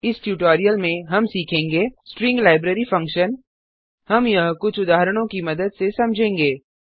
इस ट्यूटोरियल में हम सीखेंगे स्ट्रिंग लाइब्रेरी फंक्शन हम यह कुछ उदाहरणों की मदद से समझेंगे